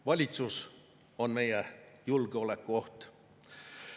Valitsus on meie julgeolekuoht.